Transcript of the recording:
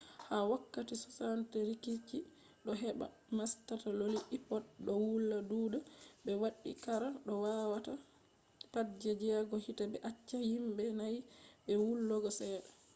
ha wokkati 60 rikici do heba mastaloli ipods do wula duda be waddi qara do wata pat je jego hite be acca himbe nai be wulugo sedda